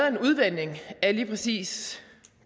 af en udvanding af lige præcis